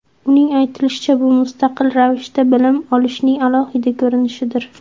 Uning aytishicha, bu mustaqil ravishda bilim olishning alohida ko‘rinishidir.